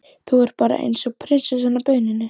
Þú ert bara eins og prinsessan á bauninni!